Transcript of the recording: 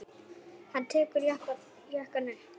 Hann tekur jakkann upp.